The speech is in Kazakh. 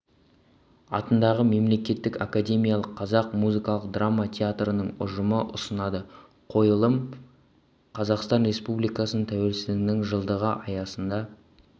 атындағы мемлекеттік академиялық қазақ музыкалық драма театрының ұжымы ұсынады қойылым қазақстан республикасы тәуелсіздігінің жылдығы аясында